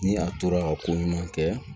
Ni a tora ka ko ɲuman kɛ